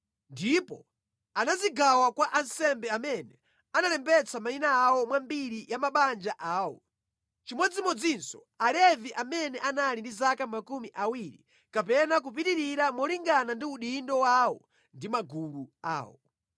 Ndipo anazigawa kwa ansembe amene analembetsa mayina awo mwa mbiri ya mabanja awo, chimodzimodzinso Alevi amene anali ndi zaka makumi awiri kapena kupitirira molingana ndi udindo wawo ndi magulu awo.